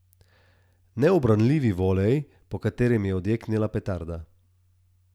Neubranljivi volej, po katerem je odjeknila petarda.